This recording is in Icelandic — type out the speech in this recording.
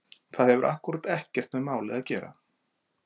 Það hefur akkúrat ekkert með málið að gera!